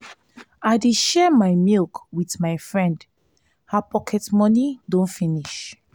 i dey share my milk wit my friend her pocket moni don finish.